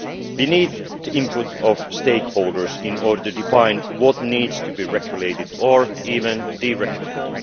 We need the input of stakeholders in order to define what needs to be regulated or even deregulated